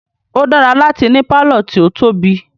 O dára láti ní pálọ̀ tí o tóbi.